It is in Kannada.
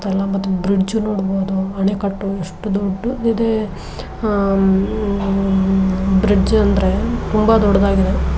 ಎಲ್ಲಾ ಮತ್ತ್ ಬ್ರಿಡ್ಜ್ ಉ ನೋಡಬಹುದು. ಆಣೆಕಟ್ಟು ಎಷ್ಟು ದೊಡ್ಡದು ಇದೆ ಅಹ್ ಬ್ರಿಡ್ಜ್ ಅಂದ್ರೆ ತುಂಬಾ ದೊಡ್ಡದಾಗಿದೆ.